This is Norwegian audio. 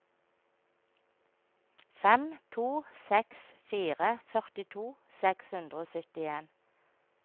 fem to seks fire førtito seks hundre og syttien